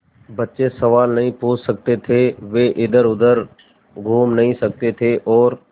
बच्चे सवाल नहीं पूछ सकते थे वे इधरउधर घूम नहीं सकते थे और